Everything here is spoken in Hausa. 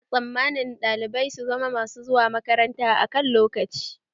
Ana tsammanin ɗalibai su zama mash zuwa makaranta akan lokaci